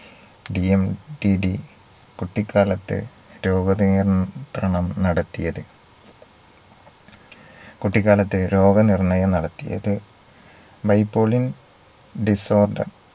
DMDD കുട്ടിക്കാലത്തെ രോഗ നിയന്ത്രണം നടത്തിയത് കുട്ടിക്കാലത്തെ രോഗ നിർണ്ണയം നടത്തിയത് Bipolin disorder